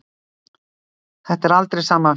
Þetta er aldrei sama fjallið.